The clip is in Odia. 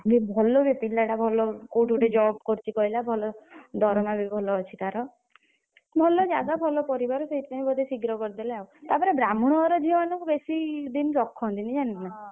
ଏ ଭଲ ବେ ପିଲାଟା ଭଲ କୋଉଠି ଗୋଟେ job କରିଛି କହିଲା ଭଲ ଦରମା ବି ଭଲ ଅଛି ତାର ଭଲ ଜାଗା ଭଲ ପରିବାର ସେଥିପାଇଁ ବୋଧେ ଶୀଘ୍ର କରିଦେଲେ ଆଉ ତାପରେ ବ୍ରାହ୍ନଣ ଘର ଝିଅ ମାନକୁ ବେଶୀ ଦିନ ରଖନ୍ତିନି ଜାଣିଲୁ ନା।